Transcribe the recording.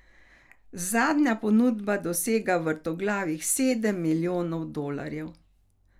Zadnja ponudba dosega vrtoglavih sedem milijonov dolarjev.